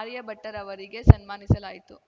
ಆರ್ಯಭಟ್ಟರವರಿಗೆ ಸನ್ಮಾನಿಸಲಾಯಿತು